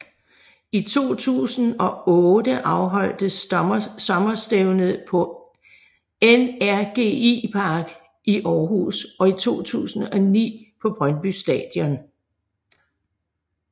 I 2008 afholdtes sommerstævnet på NRGi Park i Århus og i 2009 på Brøndby Stadion